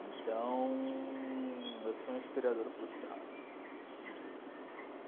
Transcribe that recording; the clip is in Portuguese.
Então, eu sou um historiador frustrado.